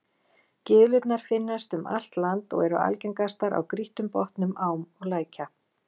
Gyðlurnar finnast um allt land og eru algengastar á grýttum botnum ám og lækja.